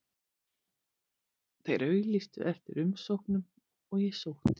Þeir auglýstu eftir umsóknum og ég sótti um.